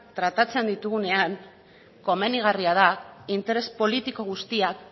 tratatzen ditugunean komenigarria da interes politiko guztiak